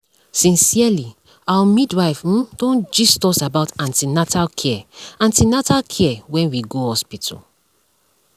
sincerely our midwife um don gist us about an ten atal care an ten atal care when we go hospital